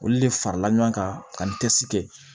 Olu de farala ɲɔgɔn kan ka n cɛsiri